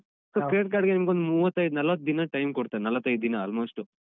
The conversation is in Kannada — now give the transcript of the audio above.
So, Credit Card ಗೆ ನಿಮ್ಗೆ ಮೂವತ್ತೈದ್ ನಲ್ವತ್ ದಿನ time ಕೊಡ್ತೇನೆ ನಲ್ವತ್ತೈದ್‌ ದಿನ almost.